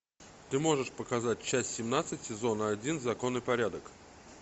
ты можешь показать часть семнадцать сезона один закон и порядок